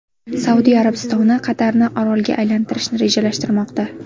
Saudiya Arabistoni Qatarni orolga aylantirishni rejalashtirmoqda.